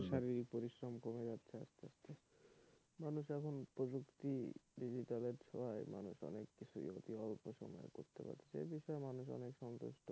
মানুষের শারীরিক পরিশ্রম কমে যাচ্ছে আস্তে আস্তে মানুষ এখন প্রযুক্তির digital এর ছোঁয়ায় মানুষ অনেককিছু অতি অল্প সময়ে করতে পারছে এবিষয়ে মানুষ অনেক সন্তুষ্ট,